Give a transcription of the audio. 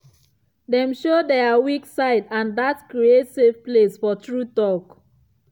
dem show their weak side and dat create safe place for true talk.